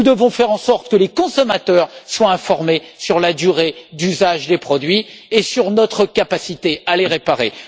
Nous devons faire en sorte que les consommateurs soient informés de la durée d'usage des produits et de notre capacité à les réparer.